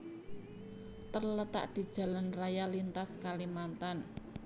terletak di Jalan Raya Lintas Kalimantan